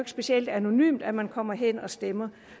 specielt anonymt at man kommer hen og stemmer